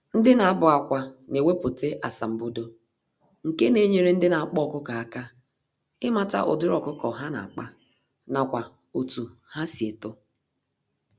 Ndị nabụ-akwá newepụta asambodo, nke Na-enyere ndị n'akpa ọkụkọ àkà ịmata ụdịrị ọkụkọ ha nakpa, nakwa otú ha si eto